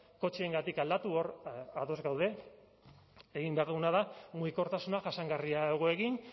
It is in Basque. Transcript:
kotxeengatik aldatu hor ados gaude egin behar duguna da mugikortasuna jasangarriago egin